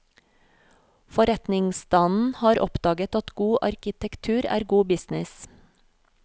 Forretningsstanden har oppdaget at god arkitektur er god business.